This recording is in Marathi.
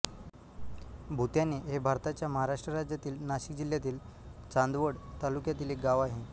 भुत्याणे हे भारताच्या महाराष्ट्र राज्यातील नाशिक जिल्ह्यातील चांदवड तालुक्यातील एक गाव आहे